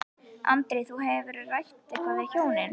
Andri: Þú, hefurðu rætt eitthvað við hjónin?